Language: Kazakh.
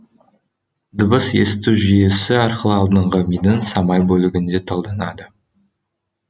дыбыс есту жүйкесі арқылы алдыңғы мидың самай бөлігінде талданады